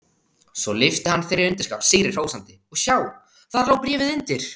Svo lyfti hann þeirri undirskál sigri hrósandi og sjá: Þar lá bréfið undir!